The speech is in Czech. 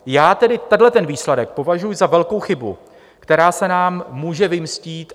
Já tedy tenhle výsledek považuji za velkou chybu, která se nám může vymstít.